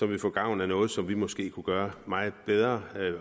ville få gavn af noget som vi måske kunne gøre meget bedre